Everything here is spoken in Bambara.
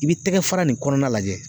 I bɛ tɛgɛ fara nin kɔnɔna lajɛ.